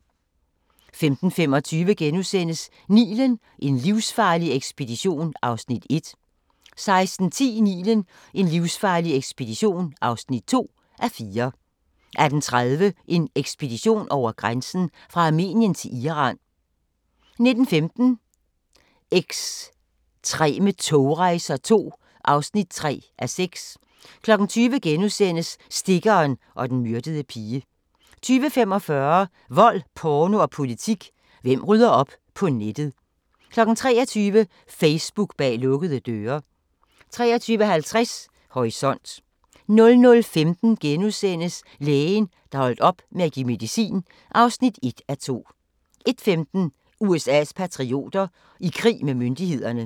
15:25: Nilen: En livsfarlig ekspedition (1:4)* 16:10: Nilen: en livsfarlig ekspedition (2:4) 18:30: En ekspedition over grænsen: Fra Armenien til Iran 19:15: Ekstreme togrejser II (3:6) 20:00: Stikkeren og den myrdede pige * 20:45: Vold, porno og politik – hvem rydder op på nettet? 23:00: Facebook bag lukkede døre 23:50: Horisont 00:15: Lægen, der holdt op med at give medicin (1:2)* 01:15: USA's patrioter – i krig med myndighederne